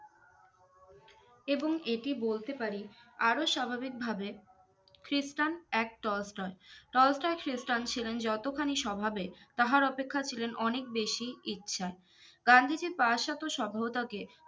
এবং এটি বলতে পারি আর স্বাভাবিক ভাবে ক্রিস্টেন এক তলস্তয় তলস্তয় খ্রিস্টান ছিলেন যতখানি স্বভাবের তাহার অপেক্ষা ছিলেন অনেক বেশি ইচ্ছা গান্ধীজির প্রাশ্চাত্য সঙ্গটাকে